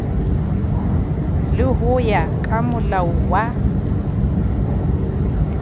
le ho ya kamolao wa